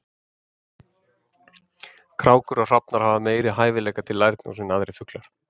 Krákur og hrafnar hafa meiri hæfileika til lærdóms en aðrir fuglar.